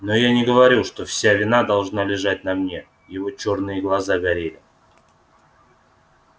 но я не говорю что вся вина должна лежать на мне его чёрные глаза горели